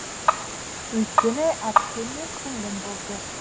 өйткені әпкем мен сіңлім болды